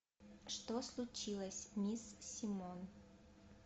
что случилось мисс симон